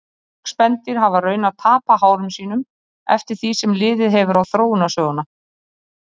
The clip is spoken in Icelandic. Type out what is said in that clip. Mörg spendýr hafa raunar tapað hárum sínum eftir því sem liðið hefur á þróunarsöguna.